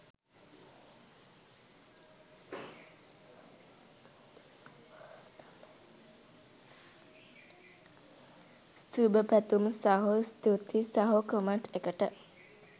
සුබපැතුම් සහෝ ස්තූතියි සහෝ කමෙන්ට් එකට.